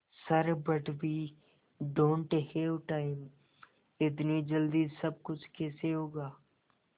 sir but we don't have time इतनी जल्दी सब कुछ कैसे होगा